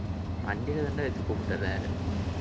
வண்டியிலதான்டா வெச்சு கூப்பிட்டுவர்றே